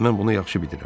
Mən bunu yaxşı bilirəm.